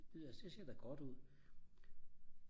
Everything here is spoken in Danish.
det ser da godt ud